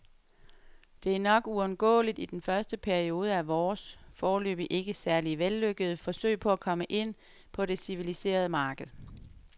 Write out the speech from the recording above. Det er nok uundgåeligt i den første periode af vores, foreløbig ikke særlig vellykkede, forsøg på at komme ind på det civiliserede marked.